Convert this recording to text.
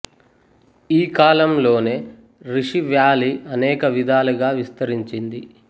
ఈ కాలం లోనే రిషి వ్యాలీ అనేక విధాలుగా విస్తరించింది